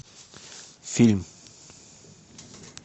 фильм